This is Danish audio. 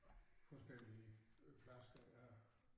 Forskellige flasker ja